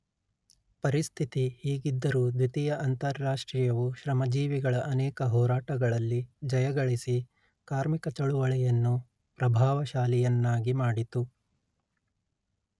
ಪರಿಸ್ಥಿತಿ ಹೀಗಿದ್ದರೂ ದ್ವಿತೀಯ ಅಂತಾರಾಷ್ಟ್ರೀಯವು ಶ್ರಮಜೀವಿಗಳ ಅನೇಕ ಹೋರಾಟಗಳಲ್ಲಿ ಜಯಗಳಿಸಿ ಕಾರ್ಮಿಕಚಳವಳಿಯನ್ನು ಪ್ರಭಾವಶಾಲಿಯನ್ನಾಗಿ ಮಾಡಿತು